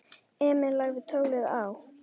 Emil lagði tólið á.